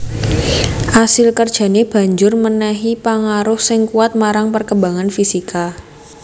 Asil kerjané banjur mènèhi pangaruh sing kuwat marang perkembangan fisika